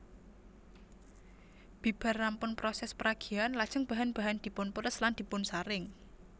Bibar rampun prosès peragian lajeng bahan bahan dipunperes lan dipunsaring